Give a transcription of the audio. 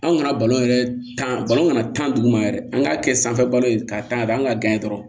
Anw kana balon yɛrɛ tan balon kana tan dugu ma yɛrɛ an k'a kɛ sanfɛ balon ye k'a tanga an ka kɔrɔ